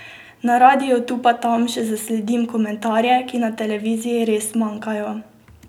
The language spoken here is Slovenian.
Na radiu tu pa tam še zasledim komentarje, ki na televiziji res manjkajo.